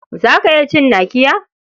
Za ka iya cin nakiya?